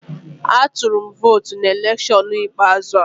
Atụrụ m votu na electiọnụ ikpeazụ a